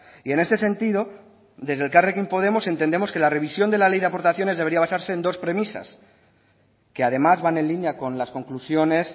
y en este sentido desde elkarrekin podemos entendemos que la revisión de la ley de aportaciones debería basarse en dos premisas que además van en línea con las conclusiones